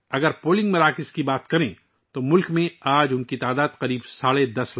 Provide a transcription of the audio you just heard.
اگر ہم پولنگ اسٹیشنوں کی بات کریں تو آج ملک میں ان کی تعداد تقریباً 10